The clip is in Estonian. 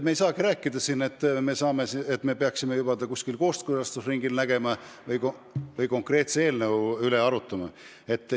Me ei saagi siin rääkida, et me peaksime seda juba kuskil kooskõlastusringil nägema või konkreetse eelnõu üle arutama.